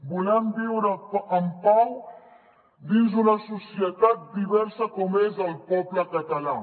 volem viure en pau dins d’una societat diversa com és el poble català